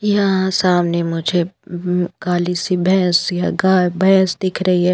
यहां सामने मुझे उम्म काली सी भैंस या गाय भैंस दिख रही है।